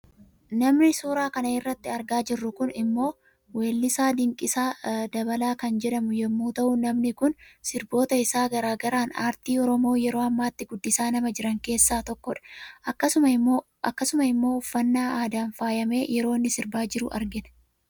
Namni suura kana irratti argaa jirru kun immoo weellisaa Dinqisaa Dabalaa kan jedhamu yemmuu tahu namni kun sirboota isaa garaagaraan aartii oromoo yeroo ammaatti guddisaa nama jiran keessaa tokkodha. Akkasuma immoo uffannaa aadaan faayamee yeroo inni sirbaa jiru argina.